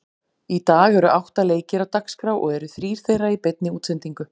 Í dag eru átta leikir á dagskrá og eru þrír þeirra í beinni útsendingu.